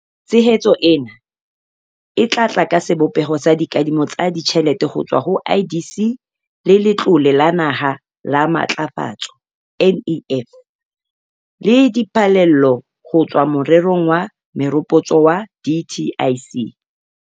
Tshehetso ena e tla tla ka sebopeho sa dikadimo tsa ditjhelete ho tswa ho IDC le Letlole la Naha la Matlafatso NEF le diphallelo ho tswa morerong wa meropotso wa dtic.